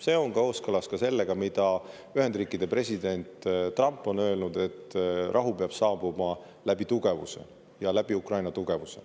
See on kooskõlas ka sellega, mida Ühendriikide president Trump on öelnud, et rahu peab saabuma läbi tugevuse, ja läbi Ukraina tugevuse.